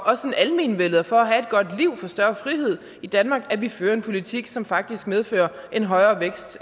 almenvellet og for at have et godt liv og få større frihed i danmark at vi fører en politik som faktisk medfører en højere vækst